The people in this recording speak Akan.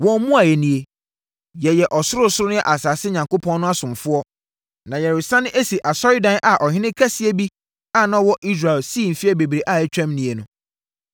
Wɔn mmuaeɛ nie: “Yɛyɛ ɔsorosoro ne asase Onyankopɔn no asomfoɔ, na yɛresane asi asɔredan a ɔhene kɛseɛ bi a na ɔwɔ Israel sii mfeɛ bebree a atwam nie no.